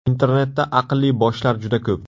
Internetda aqlli boshlar juda ko‘p.